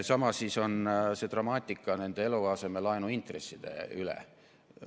Sama on dramaatikaga nende eluasemelaenu intresside teemal.